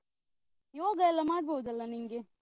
ಯೋಗ ಎಲ್ಲ ಮಾಡ್ಬೋದಲ್ಲ ನಿಂಗೆ?